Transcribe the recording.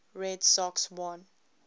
red sox won